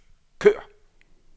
kør